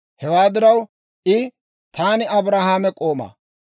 Hewaa diraw I, «Taani Abrahaame k'oomaa.